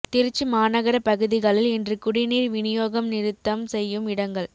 திருச்சி மாநகர பகுதிகளில் இன்று குடிநீர் விநியோகம் நிறுத்தம் செய்யும் இடங்கள்